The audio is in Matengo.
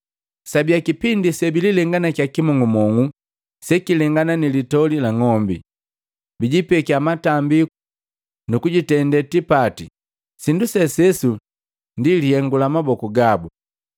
Sabia kipindi sebililenganakiya kimong'umong'u sekilengana ni litoli la ng'ombi, bijipekya matambiku nukujitende tipati sindu sesuse ndi lihengu la maboku gabu.